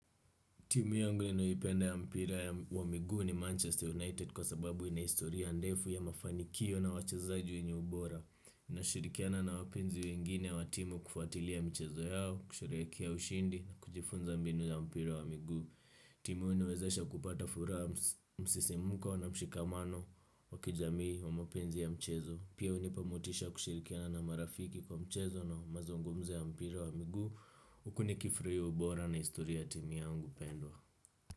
Timu yangu ninaipenda ya mpira ya wa migu ni Manchester United kwa sababu ina historia ndefu ya mafanikio na wachezaji wemye ubora nashirikiana na wapenzi wengine wa timu kufuatilia mchezo yao, kusherekea ushindi na kujifunza mbinu ya mpira wa miguu. Timu inawezesha kupata furaha msisimuko na mshikamano wa kijamii wa mapenzi ya mchezo. Pia unipa motisha kushirikiana na marafiki kwa mchezo na mazungumze ya mpira wa miguu huku nikifurahia ubora na hiistoria timu yangu pendwa.